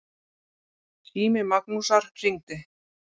Sími Magnúsar hringdi.